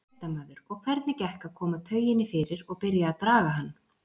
Fréttamaður: Og hvernig gekk að koma tauginni fyrir og byrja að draga hann?